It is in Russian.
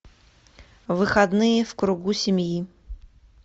выходные в кругу семьи